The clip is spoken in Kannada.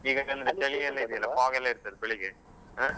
ಈಗ ಚಂದ ಚಳಿ ಎಲ್ಲ ಇದೆಯಲ್ಲಾ fog ಎಲ್ಲಾಇರ್ತದೆ ಬೆಳಿಗ್ಗೆ ಅಹ್.